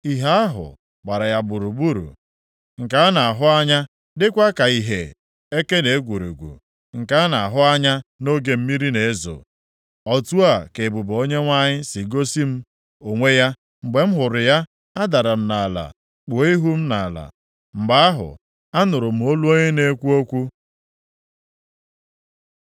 Ìhè ahụ gbara ya gburugburu, nke a na-ahụ anya, dịkwa ka ìhè eke na egwurugwu, nke a na-ahụ anya nʼoge mmiri na-ezo. Otu a ka ebube Onyenwe anyị si gosi m onwe ya. Mgbe m hụrụ ya, adara m nʼala kpuo ihu m nʼala. Mgbe ahụ, anụrụ m olu onye na-ekwu okwu.